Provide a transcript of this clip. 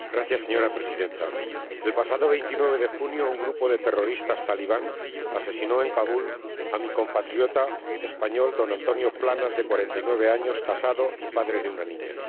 Señora Presidenta, el pasado 29 de junio, un grupo de terroristas talibanes asesinó en Kabul a mi compatriota español don Antonio Planas, de 49 años, casado y padre de una niña.